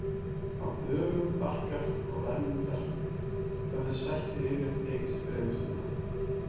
Á dögum Barkar og Vermundar höfðu sættir yfirleitt tekist fremur snemma.